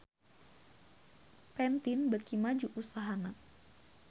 Pantene beuki maju usahana